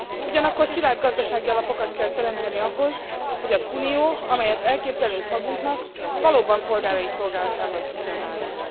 Ugyanakkor szilárd gazdasági alapokat kell teremteni ahhoz, hogy az unió, amelyet elképzelünk magunknak, valóban polgárai szolgálatában tudjon állni.